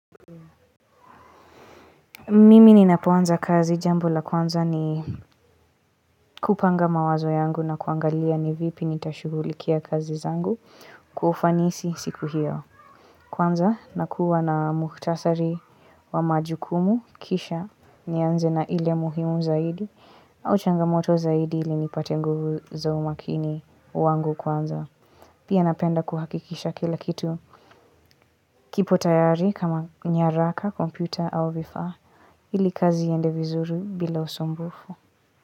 Mimi ninapuanza kazi jambo la kwanza ni kupanga mawazo yangu na kuangalia ni vipi nitashughulikia kazi zangu kuufanisi siku iyo kwanza nakua na mukhtasari wa majukumu kisha nianze na ile muhimu zaidi au changamoto zaidi ili nipate nguvu za umakini wangu kwanza Pia napenda kuhakikisha kila kitu kipo tayari kama nyaraka, komputa au vifaa Ili kazi iende vizuru bila usambufu.